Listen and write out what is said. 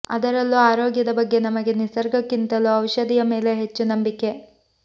ಅದರಲ್ಲೂ ಆರೋಗ್ಯದ ಬಗ್ಗೆ ನಮಗೆ ನಿಸರ್ಗಕ್ಕಿಂತಲೂ ಔಷಧಿಯ ಮೇಲೇ ಹೆಚ್ಚು ನಂಬಿಕೆ